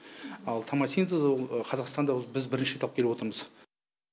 ал тамосинтез ол қазақстанда осы біз бірінші рет алып келіп отырмыз